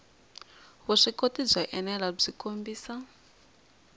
vuswikoti byo enela byi kombisa